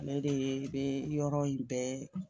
Ale de ye bɛ yɔrɔ in bɛɛ